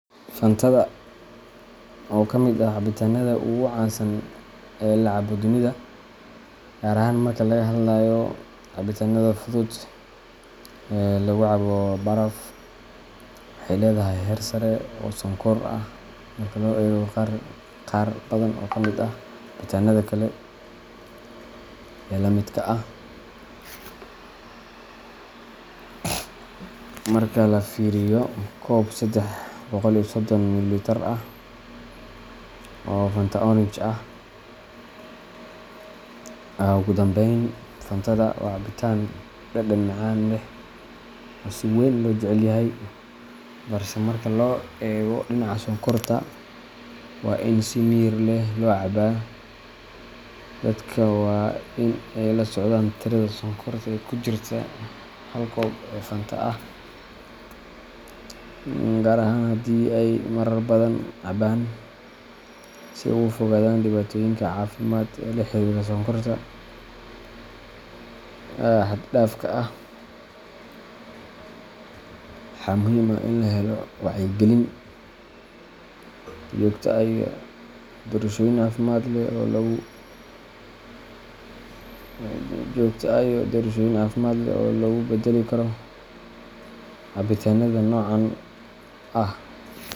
Fantada, oo ka mid ah cabitaanada ugu caansan ee la cabo dunida, gaar ahaan marka laga hadlayo cabitaanada fudud ee lagu cabo baraf, waxay leedahay heer sare oo sonkor ah marka loo eego qaar badan oo ka mid ah cabitaanada kale ee la midka ah. Marka la fiiriyo koob sedex boqol iyo sodon mililitar ah oo Fanta Orange ah, Ugu dambayn, Fantada waa cabitaan dhadhan macaan leh oo si weyn loo jecel yahay, balse marka laga eego dhinaca sonkorta, waa in si miyir leh loo cabaa. Dadka waa in ay la socdaan tirada sonkorta ee ku jirta hal koob oo Fanta ah, gaar ahaan haddii ay marar badan cabaan, si ay uga fogaadaan dhibaatooyinka caafimaad ee la xiriira sonkorta xad-dhaafka ah. Waxaa muhiim ah in la helo wacyi gelin joogto ah iyo doorashooyin caafimaad leh oo loogu beddeli karo cabitaanada noocan ah.